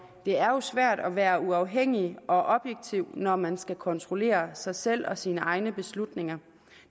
det er jo svært at være uafhængig og objektiv når man skal kontrollere sig selv og sine egne beslutninger